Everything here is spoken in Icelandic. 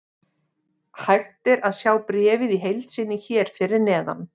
Hægt er að sjá bréfið í heild sinni hér fyrir neðan.